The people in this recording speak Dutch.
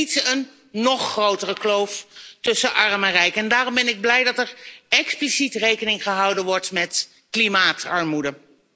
We willen niet een nog grotere kloof tussen arm en rijk en daarom ben ik blij dat er expliciet rekening gehouden wordt met klimaatarmoede.